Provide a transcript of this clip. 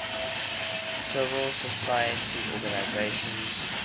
civil society organizations